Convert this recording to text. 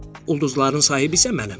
Ulduzların sahibi isə mənəm.